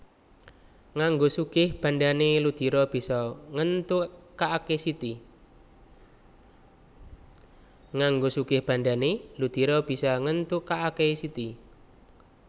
Nganggo sugih bandhané Ludiro bisa ngéntukaké Siti